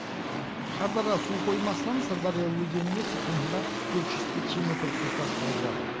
шардара су қоймасынан сырдария өзеніне секундына төрт жүз текше метр су тасталып жатыр